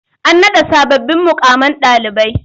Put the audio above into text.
An naɗa sababbin muƙaman ɗalibai.